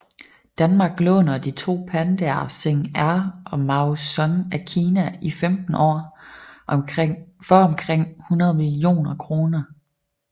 Danmark låner de to pandaer Xing Er og Mao Sun af Kina I 15 år for omkring 100 millioner kroner